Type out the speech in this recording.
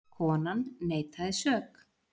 Konan neitaði sök.